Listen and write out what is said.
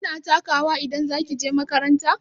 Kina taka wa idan za ki je makaranta?